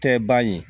Tɛ ban ye